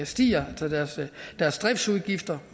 stiger altså deres deres driftsudgifter